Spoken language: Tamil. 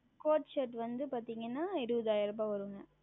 CourtShirt வந்து பார்த்தீர்கள் என்றால் இருபதாயிரம் ரூபாய் வரும்